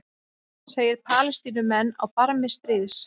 Segir Palestínumenn á barmi stríðs